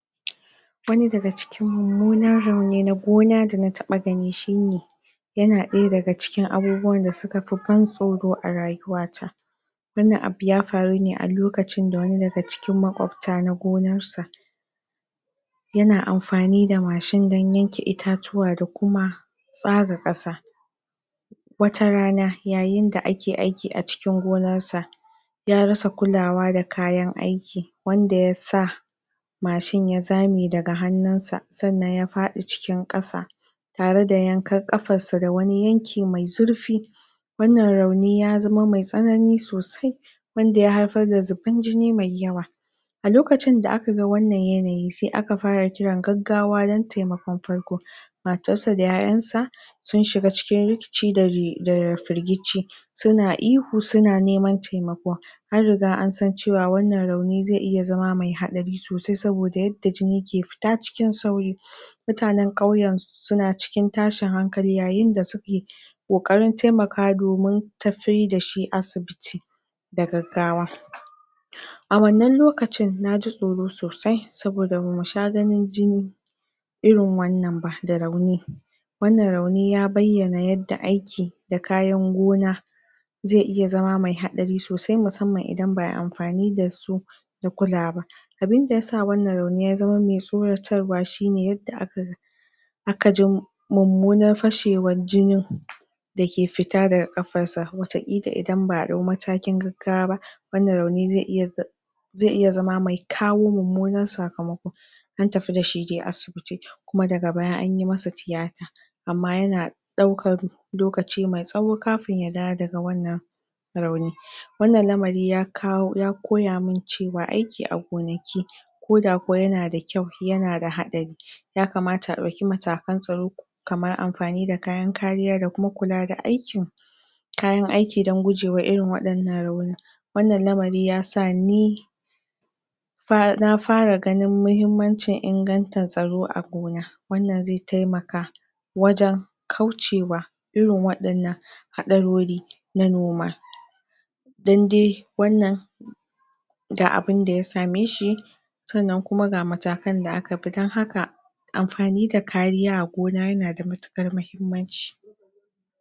wani daga cikin mummunar rauni na gona da na taɓa gani shine yana ɗaya daga cikin abubuwan da suka fi ban tsoro a rayuwa ta wannan abu ya faru ne a lokacin da wani daga cikin makwabta na gonar sa yana amfani da mashin dan yanke itatuwa da kuma tsaga ƙasa wata rana yayin da ake aiki a cikin gonar sa ya rasa kulawa da kayan aiki wanda ya sa mashin ya zame daga hannun sa sannan ya fadi cikin ƙasa tare da yankar kafar sa da wani yanki mai zurfi wannan rauni ya zama mai tsanani sosai wanda ya haifar da zuban jini mai yawa a lokacin da aka ga wannan yanayi sai aka fara kiran gaggawa dan taimakon farko matar sa da 'ya 'yan sa sun shiga cikin rikici da ri da ri firgici suna ihu suna neman taimako an riga an san cewa wannan rauni zai iya zama mai haɗari sosai saboda yadda jini ke fita cikin sauri mutanen ƙauyen su suna cikin tashin hankali yayin da suke ƙoƙarin taimaka domin tafi da shi asibiti da gaggawa huh a wannan lokacin naji tsoro sosai saboda bamu sha ganin jini irin wannan ba da rauni wannan rauni ya bayyana yadda aikin da kayan gona zai iya zama mai haɗari sosai musamman idan ba'a yi amfani da su da kulaa ba abinda yasa wannan rauni ya zama mai tsoratarwa shine yadda aka ga aka jim mummunar fashewar jinin da ke fita daga ƙafar sa wata ƙila idan ba'a dau matakin gaggawa ba wannan rauni zai iya zz zai iya zama mai kawo mummunan sakamako an tafi da shi dai asibiti kuma daga baya anyi masa tiyata amma yanaa ɗaukar lokaci mai tsawo kafin ya dawo daga wannan rauni wannan lamari ya kawo ya koyamin cewa aiki a gonaki koda kuwa yana da kyau yana da haɗari ya kamata a ɗauki matakan tsaro kamar amfani da kayan kariya da kuma kula da aikin kayan aiki dan gujewa irin waɗannan rauni wannan lamari yasa ni fa na fara gani muhimmancin inganta tsaro a gona wannan zai taimaka wajen kauce wa irin waɗannan haɗarori na noma dan dai wannan da abinda ya same shi sannan kuma ga matakan da aka bi dan haka amfani da kariya a gona yana da matuƙar mahimmanci